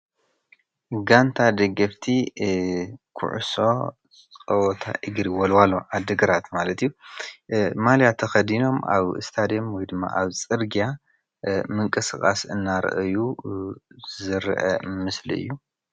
ጋንታ ደገፍቲ ኩዕሶ ጸውታ እግሪ ዎልዋሎ ዓዲ-ግራት ማለት እዩ ማልያ ተከዲኖም ኣብ ስታድዮም ወይድማ ኣብ ፅርግያ ምቅስቃስ እንዳረኣዩ ዝረኣ ምስሊ እዩ።